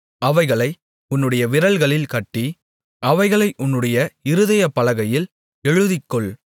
அவைகளை உன்னுடைய விரல்களில் கட்டி அவைகளை உன்னுடைய இருதயப்பலகையில் எழுதிக்கொள்